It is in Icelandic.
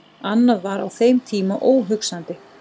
Annað var á þeim tíma óhugsandi.